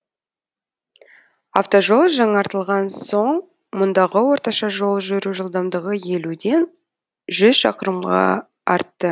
автожол жаңартылған соң мұндағы орташа жол жүру жылдамдығы елуден жүз шақырымға артты